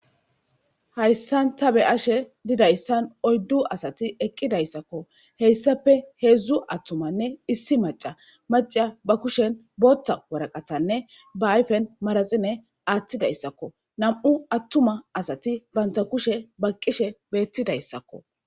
Hayssan ta be ashe didayssan oyddu asati eqqidayssakko heyssape heedzdzu attumanne issi maca maca ba kushen bootta waraqatanne ba ayfen maraxine aattidayssakko nam7u attuma asati banta kushe baqqishe beettidayssakko